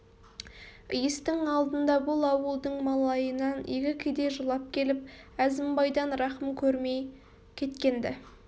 иістің алдында бұл ауылдың малайынан екі кедей жылап келіп әзімбайдан рақым көрмей кеткен-ді